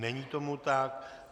Není tomu tak.